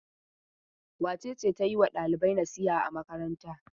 Wace ce ta yi wa ɗalibai nasiha a makaranta?